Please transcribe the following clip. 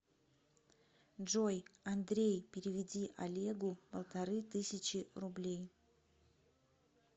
джой андрей переведи олегу полторы тысячи рублей